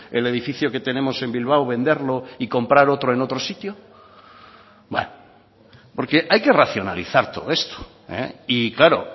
el edificio que tenemos en bilbao venderlo y comprar otro en otro sitio bueno porque hay que racionalizar todo esto y claro